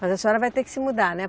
Mas a senhora vai ter que se mudar, né?